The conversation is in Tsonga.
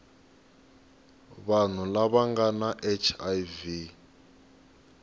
vanhu lava nga na hiv